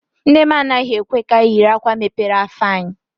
Nne m anaghị ekwe ka anyị yiri akwa mepere afọ anyị.